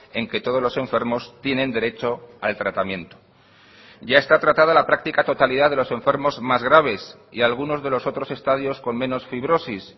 en que todos los enfermos tienen derecho al tratamiento ya está tratada la práctica totalidad de los enfermos más graves y algunos de los otros estadios con menos fibrosis